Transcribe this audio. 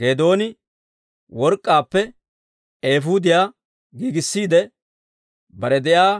Geedooni work'k'aappe eefuudiyaa giigissiide, bare de'iyaa